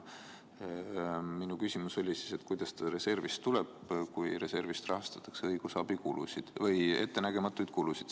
Minu küsimus oli, kuidas ta reservist tuleb, kui reservist rahastatakse ettenägematuid kulusid.